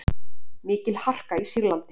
Mikil harka í Sýrlandi